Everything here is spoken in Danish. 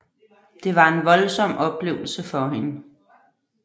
Det var en voldsom oplevelse for hende